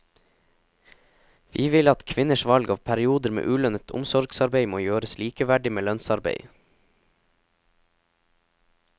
Vi vil at kvinners valg av perioder med ulønnet omsorgsarbeid må gjøres likeverdig med lønnsarbeid.